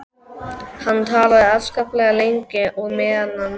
Hann talaði afskaplega lengi og á meðan náði